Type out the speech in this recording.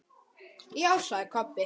Já, sagði Kobbi.